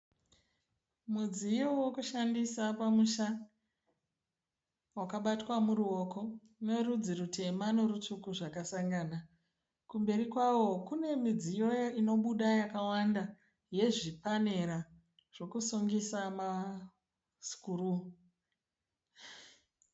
Mudziyo wokushandisa pamusha wakabatwa muruoko uno rudzi rutema norutsvuku zvakasangana kumberi kwawo kune midziyo inobuda yakawanda yezvipanera yekusungisa masikuruu.